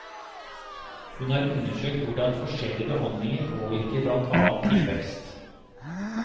Hun har undersøkt hvordan forskjellige behandlinger påvirker blant annet tilvekst.